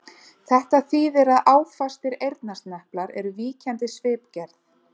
Þetta þýðir að áfastir eyrnasneplar eru víkjandi svipgerð.